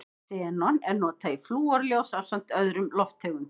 Xenon er notað í flúrljós ásamt öðrum lofttegundum.